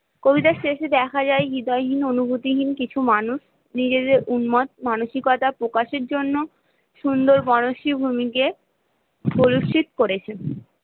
কবিতার শেষে দেখা যায় হৃদয়হীন অনুভূতিহীন কিছু মানুষ নিজেদের উন্মাদ মানসিকতা প্রকাশের জন্য সুন্দরবনের ভূমি কে প্রদূষিত করেছে